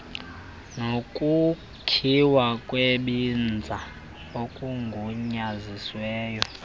nokukhiwa kwebinza okugunyazisiweyo